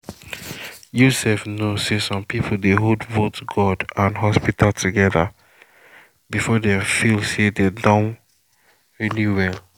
you sef know say some people dey hold both god and hospital together before dem feel feel say dem don really well